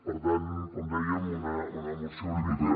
per tant com dèiem una moció una mica